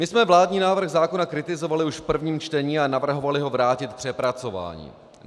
My jsme vládní návrh zákona kritizovali už v prvním čtení a navrhovali ho vrátit k přepracování.